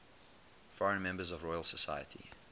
foreign members of the royal society